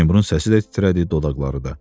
Seymurun səsi də titrədi, dodaqları da.